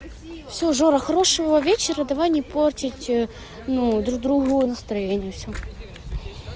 всё жора хорошего вечера давай не портить ну друг другу настроение всё